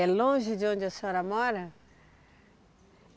É longe de onde a senhora mora?